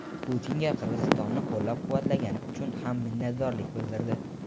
Putinga "Qirg‘izistonni qo‘llab-quvvatlagani" uchun ham minnatdorlik bildirdi.